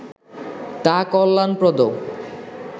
তা কল্যাণপ্রদ